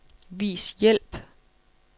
Vis hjælp.